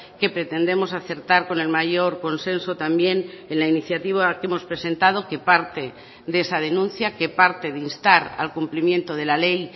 que pretendemos acertar con el mayor consenso también en la iniciativa que hemos presentado que parte de esa denuncia que parte de instar al cumplimiento de la ley